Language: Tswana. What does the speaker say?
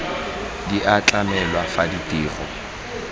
di a tlamelwa fa ditiro